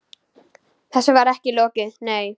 Þessu var ekki lokið, nei.